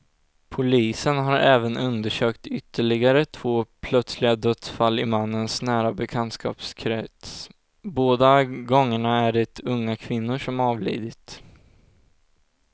Polisen har även undersökt ytterligare två plötsliga dödsfall i mannens nära bekantskapskrets, båda gångerna är det unga kvinnor som avlidit.